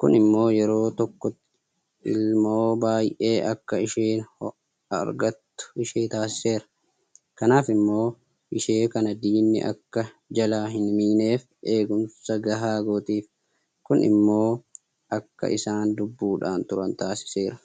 Kun immoo yeroo tokkotti ilmoo baay'ee akka isheen argattu ishee taasiseera. Kanaaf ilmoo ishee kana diinni akka jalaa hinmiineef eegumsa gahaa gootiif. Kun immoo akka isaan lubbuudhaan turan taasiseera.